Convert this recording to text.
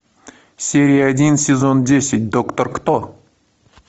серия один сезон десять доктор кто